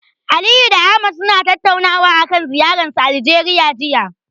Aliyu da Ahmad suna tattaunawa akan ziyararsu Aljeriya, jiya.